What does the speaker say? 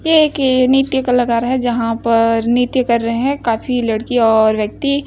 ये एक नित्य कलाकार हैं जहां पर नित्य कर रही हैं काफी लड़कियां और व्यक्ति--